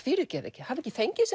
fyrirgefið þið hafa ekki fengið þessi